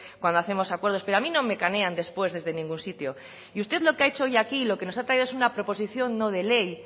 cuando hacemos acuerdos pero a mí no me canean después desde ningún sitio y usted lo que ha hecho hoy aquí lo que nos ha traído es una proposición no de ley